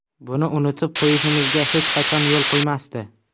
Buni unutib qo‘yishimizga hech qachon yo‘l qo‘ymasdi.